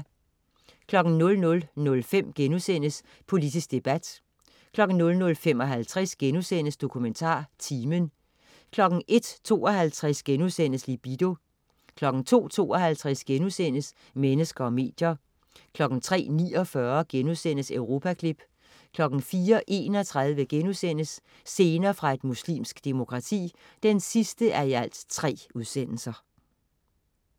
00.05 Politisk debat* 00.55 DokumentarTimen* 01.52 Libido* 02.52 Mennesker og medier* 03.49 Europaklip* 04.31 Scener fra et muslimsk demokrati 3:3*